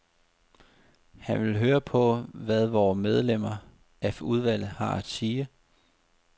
Han vil høre på, hvad vore medlemmer af udvalget har at sige.